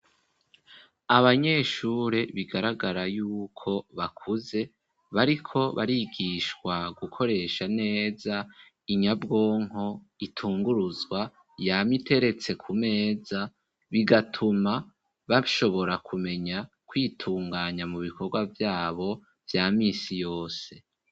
Abanyeshure bigaragara y'uko bakuze bariko barigishwa gukoresha neza inyabwonko itunguruzwa yama iteretse ku meza bigatuma bashobora kumenya kwitunganya mu bikorwa vyabo vya misi yose.